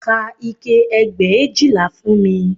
Ka ike ẹgbẹ̀éjìlá fún mi